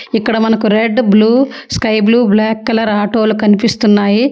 ఇక్కడ మనకు red blue sky blue black colour ఆటోలు కనిపిస్తున్నాయి.